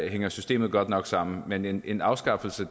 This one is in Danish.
hænger systemet godt nok sammen men en afskaffelse